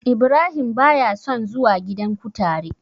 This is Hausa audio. Ibrahim ba ya son zuwa gidan kutare.